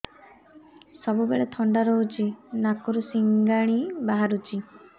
ସବୁବେଳେ ଥଣ୍ଡା ରହୁଛି ନାକରୁ ସିଙ୍ଗାଣି ବାହାରୁଚି